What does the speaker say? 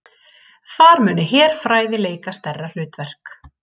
Þar muni herfræði leika stærra hlutverk